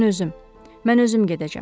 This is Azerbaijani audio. Mən özüm, mən özüm gedəcəm.